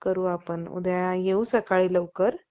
करू आपण.उद्या येऊ सकाळी लवकर